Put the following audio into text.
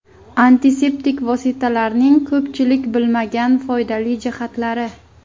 Antiseptik vositalarning ko‘pchilik bilmagan foydali jihatlari.